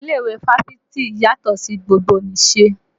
Ilé ìwé Fáfitì yàtọ́ sí ti gbogbonìse